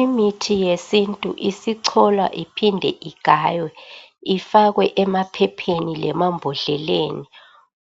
Imithi yesintu isicolwa kumbe igayiwe ifakwe emaphepheni lemambodleleni